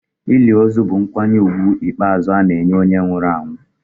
Ili ozu bụ nkwanye ùgwù ikpeazụ ana-enye onye nwụrụ anwụ.